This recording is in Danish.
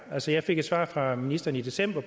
altså jeg fik et svar fra ministeren i december